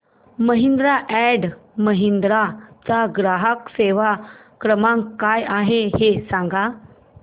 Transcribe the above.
Mahindra and Mahindra चा ग्राहक सेवा क्रमांक काय आहे हे सांगा